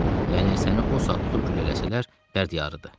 Yəni səni o saat tutub güllələsələr, dərd yarıdır.